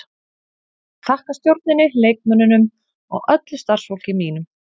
Ég vil þakka stjórninni, leikmönnunum og öllu starfsfólki mínu.